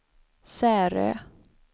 Särö